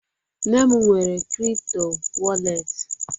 Nne m nwere kripto wọrlet.